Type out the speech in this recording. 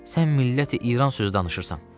Sən Milləti-İran sözü danışırsan?